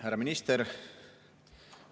Härra minister!